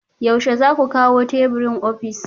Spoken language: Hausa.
Yaushe za ku kawo teburin ofis?